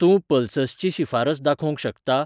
तूं पल्ससची शिफारस दाखोवंक शकता?